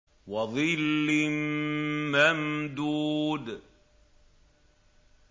وَظِلٍّ مَّمْدُودٍ